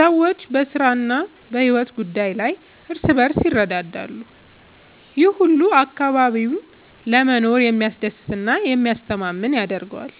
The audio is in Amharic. ሰዎች በስራ እና በሕይወት ጉዳይ ላይ እርስ በርስ ይረዳዳሉ። ይህ ሁሉ አካባቢውን ለመኖር የሚያስደስት እና የሚያስተማማኝ ያደርገዋል።